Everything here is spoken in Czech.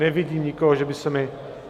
Nevidím nikoho, že by se mi...